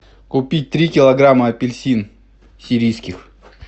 купить три килограмма апельсин сирийских